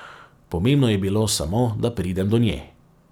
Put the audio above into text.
Pomembno je bilo samo, da pridem do nje.